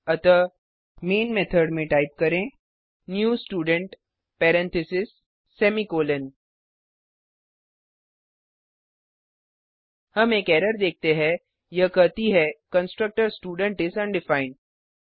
अतः नामे मेथड में टाइप करें new student parentheses semicolon हम एक एरर देखते है यह कहती है कंस्ट्रक्टर स्टूडेंट इस अनडिफाइंड